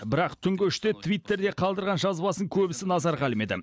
бірақ түнгі үште твиттерде қалдырған жазбасын көбісі назарға ілмеді